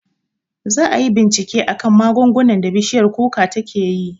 Za ayi bincike akan magungunan da bishiyar kuka takeyi